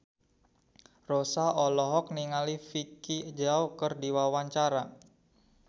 Rossa olohok ningali Vicki Zao keur diwawancara